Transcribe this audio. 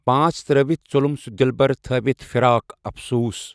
پانژھ ترأوِتھ ژوٚلُم سُہ دلبر تھأوتھ فراق افسوس